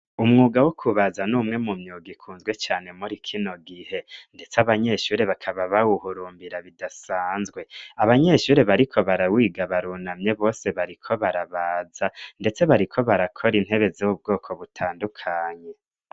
umwuga wo kubaza n'umwe mu myuga ikunzwe cane muri kino gihe ndetse abanyeshure bakaba bawuhurumbira bidasanzwe abanyeshure bariko barawiga barunamye bose bariko barabaza ndetse bariko barakora intebe z'ubwoko butandukanye